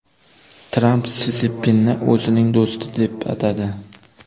Tramp Si Szinpinni o‘zining do‘sti deb atadi.